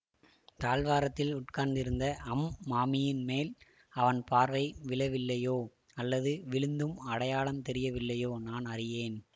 தாழ்வாரத்தில் உட்கார்ந்திருந்த அம் மாமியின் மேல் அவன் பார்வை விழவில்லையோ அல்லது விழுந்தும் அடையாளம் தெரியவில்லையோ நான் அறியேன்